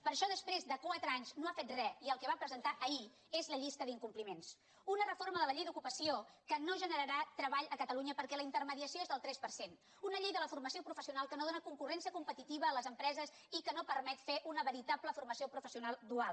per això després de quatre anys no ha fet re i el que va presentar ahir és la llista d’incompliments una reforma de la llei d’ocupació que no generarà treball a catalunya perquè la intermediació és del tres per cent una llei de la formació professional que no dóna concurrència competitiva a les empreses i que no permet fer una veritable formació professional dual